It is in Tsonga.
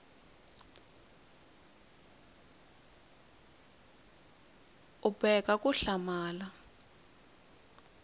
b u boheka ku hlamula